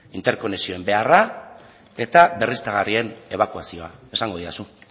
interkonektsioen beharra eta berriztagarrien ebakuazioa esango didazu